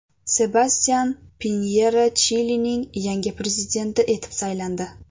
Sebastyan Pinyera Chilining yangi prezidenti etib saylandi.